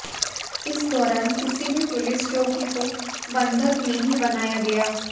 इस दौरान किसी भी पुलिस चौकी को बंधक नहीं बनाया गया